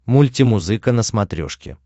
мультимузыка на смотрешке